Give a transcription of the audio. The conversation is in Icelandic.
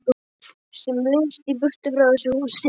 Sem lengst í burtu frá þessu húsi.